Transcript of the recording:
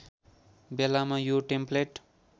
बेलामा यो टेम्प्लेट